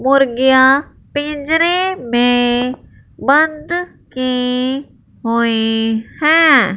मुर्गियां पिंजरे में बंद की हुई हैं।